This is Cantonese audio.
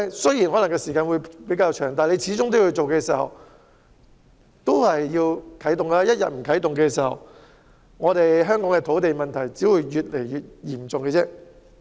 雖然需時可能較長，但始終要啟動第一步，否則香港的土地問題只會越來越嚴重。